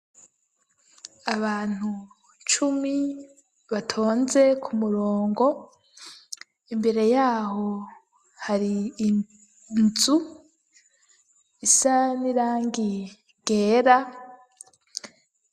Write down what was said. Abantu cumi batonze ku murongo, imbere yaho hari inzu isanirangi ryera.